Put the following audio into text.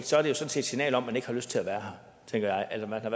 sådan set et signal om at man ikke har lyst til at være her tænker jeg eller man har